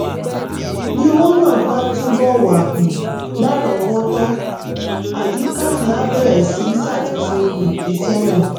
bí owó náà bá túbọ̀ wà um lárọ̀ọ́wọ́tó àyíká yẹn á bẹ̀rẹ̀ sí í ṣàtúnṣe um iṣẹ́ náà